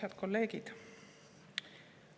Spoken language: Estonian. Head kolleegid!